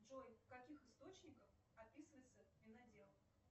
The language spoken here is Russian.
джой в каких источниках описывается винодел